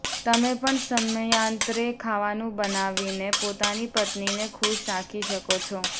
તમે પણ સમયાંતરે ખાવાનું બનાવીને પોતાની પત્નીને ખુશ રાખી શકો છો